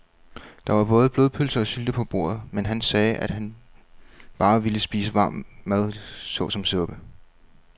Der var både blodpølse og sylte på bordet, men han sagde, at han bare ville spise varm mad såsom suppe.